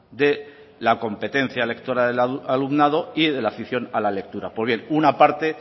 de la competencia lectora del alumnado y de la afición a la lectura poner una parte